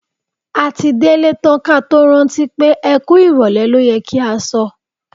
A ti délé tán ka tó rántí pé "ẹ kú ìrọ̀lẹ́ ló yẹ kí a sọ".